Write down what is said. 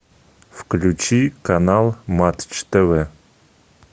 включи канал матч тв